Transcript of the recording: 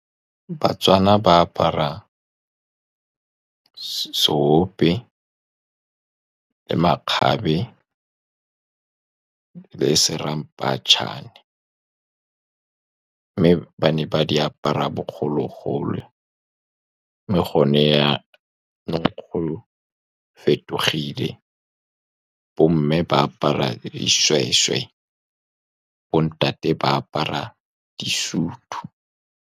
Batswana ba apara seope, le makgabe le seramphetšhane, mme ba ne ba di apara bogologolo. Mme go ne yanong go fetogile bo mme ba apara dishweshwe, bo ntate ba apara disutu.